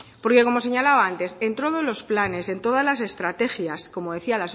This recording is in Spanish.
porque como señalaba antes en todos los planes en todas las estrategias como decía